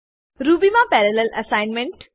Ruby મા parallel assignment